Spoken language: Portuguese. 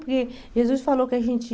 Porque Jesus falou que a gente...